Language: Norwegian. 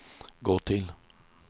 gå til